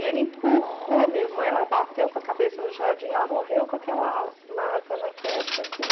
E ele empurrou, minha irmã, ela bateu com a cabeça no jardim, ela morreu com aquela marca na testa, assim.